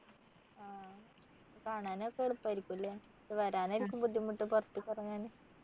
ആഹ് കാണാനൊക്കെ എളുപ്പായിരിക്കും ല്ലേ വരാനായിരിക്കും ബുദ്ധിമുട്ട് പുറത്തേക്കിറങ്ങാന്